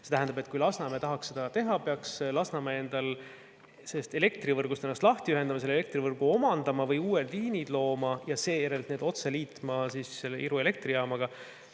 See tähendab, et kui Lasnamäe tahaks seda teha, siis peaks Lasnamäe ennast kas elektrivõrgust lahti ühendama, selle elektrivõrgu omandama või uued liinid looma ja seejärel need otse liitma Iru elektrijaamaga.